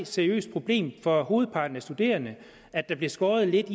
seriøst problem for hovedparten af de studerende at der bliver skåret lidt